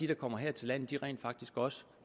der kommer her til landet rent faktisk også